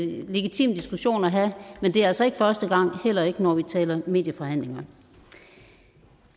legitim diskussion at have men det er altså ikke første gang heller ikke når vi taler medieforhandlinger